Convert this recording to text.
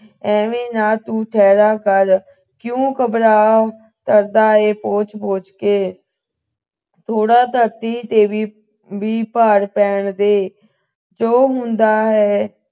ਐਵੇਂ ਨਾ ਤੂੰ ਠਹਿਰ ਕਰ ਕਿਉਂ ਘਬਰਾ ਕਰਦਾ ਐ ਪੋਚ ਪੋਚ ਕੇ ਥੋੜਾ ਧਰਤੀ ਤੇ ਵੀ ਭਾਰ ਪੈਣ ਦੇ ਜੋ ਹੁੰਦਾ ਹੈ